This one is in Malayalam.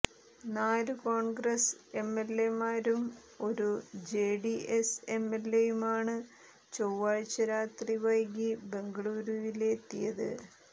നാലു കോണ്ഗ്രസ് എംഎല്എമാരും ഒരു ജെഡിഎസ് എംഎല്എയുമാണ് ചൊവ്വാഴ്ച രാത്രി വൈകി ബംഗളുരുവിലെത്തിയത്